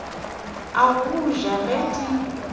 la go ja ge di